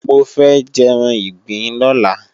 Mo fẹ́ jẹ́ran ìgbín lọ́la